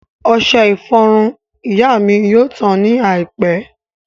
Ọṣẹ ìfọrun ìyá mi yóò tán ní àìpẹ́